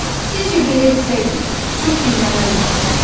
Sizcə belə etsəydim, çox gülməli olmazdı?